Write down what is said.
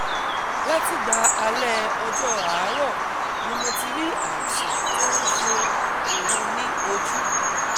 látìgbà alẹ́ ọjọ́ àárọ̀ ni mo ti rí àìsàn tó ń ṣe òun ní ojú